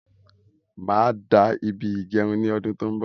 Máa dá ibí ígẹrun ní ọdún tó n bọ